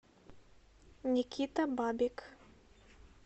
никита бабик